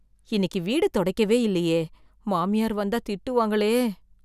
இன்னைக்கு வீடு துடைக்கவே இல்லயே, மாமியார் வந்தா திட்டுவாங்களே.